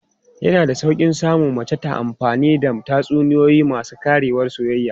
Yana da sauƙi samun mace ta amfani da tatsuniyoyi masu ƙarewar soyayya.